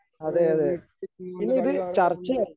ഏ വീട്ടിൽ കളി കാണുക എന്നൊരു